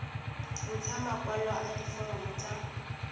ntsha makwalo a diforomo tsa